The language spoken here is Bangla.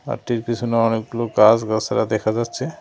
পিছনে অনেকগুলো গাছ-গাছড়া দেখা যাচ্ছে।